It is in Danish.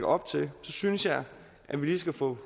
op til synes jeg at vi lige skal få